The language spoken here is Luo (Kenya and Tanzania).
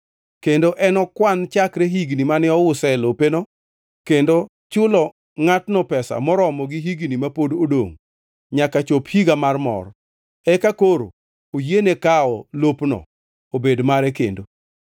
kendo enokwan chakre higni mane ouse lopeno, kendo chulo ngʼatno pesa moromo gi higni ma pod odongʼ nyaka chop higa mar mor, eka koro oyiene kawo lopno obed mare kendo.